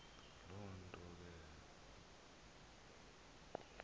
loo nto ke